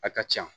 A ka ca